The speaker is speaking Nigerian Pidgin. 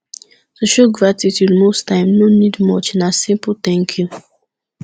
to show gratitude most times no need much na simple thank you